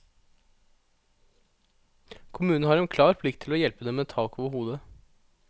Kommunen har en klar plikt til å hjelpe dem med tak over hodet.